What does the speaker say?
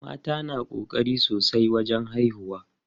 Mata na ƙokari sosai wajen haihuwa.